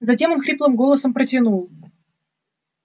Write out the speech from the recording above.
затем он хриплым голосом протянул